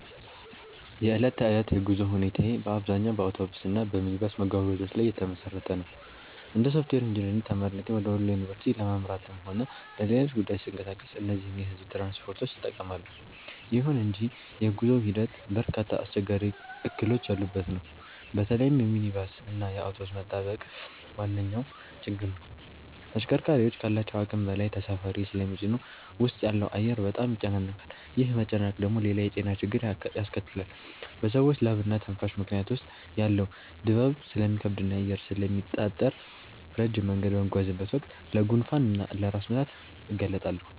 የዕለት ተዕለት የጉዞ ሁኔታዬ በአብዛኛው በአውቶቡስ እና በሚኒባስ መጓጓዣዎች ላይ የተመሰረተ ነው። እንደ ሶፍትዌር ኢንጂነሪንግ ተማሪነቴ ወደ ወሎ ዩኒቨርሲቲ ለማምራትም ሆነ ለሌሎች ጉዳዮች ስንቀሳቀስ እነዚህን የሕዝብ ትራንስፖርቶች እጠቀማለሁ። ይሁን እንጂ የጉዞው ሂደት በርካታ አስቸጋሪ እክሎች ያሉበት ነው። በተለይም የሚኒባስ እና የአውቶቡስ መጣበቅ ዋነኛው ችግር ነው። ተሽከርካሪዎቹ ካላቸው አቅም በላይ ተሳፋሪ ስለሚጭኑ ውስጥ ያለው አየር በጣም ይጨናነቃል። ይህ መጨናነቅ ደግሞ ሌላ የጤና ችግር ያስከትላል፤ በሰዎች ላብና ትንፋሽ ምክንያት ውስጥ ያለው ድባብ ስለሚከብድና አየር ስለሚታጠር፣ ረጅም መንገድ በምጓዝበት ወቅት ለጉንፋን እና ለራስ ምታት እጋለጣለሁ